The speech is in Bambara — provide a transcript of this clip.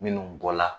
Minnu bɔ la